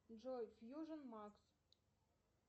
джой фьюжн макс